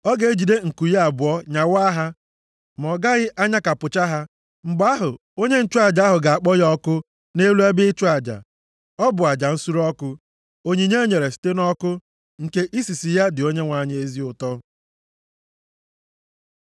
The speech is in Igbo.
Ọ ga-ejide nku ya abụọ nyawaa ha, ma ọ gaghị anyakapụcha ha. Mgbe ahụ, onye nchụaja ahụ ga-akpọ ya ọkụ nʼelu ebe ịchụ aja. Ọ bụ aja nsure ọkụ, onyinye e nyere site nʼọkụ, nke isisi ya dị Onyenwe anyị ezi ụtọ.